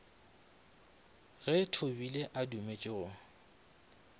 ge thobile a dumetše go